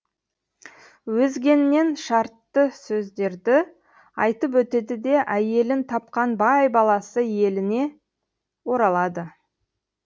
өзгеннен шартты сөздерді айтып өтеді де әйелін тапқан бай баласы еліне оралады